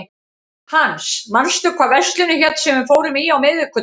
Hans, manstu hvað verslunin hét sem við fórum í á miðvikudaginn?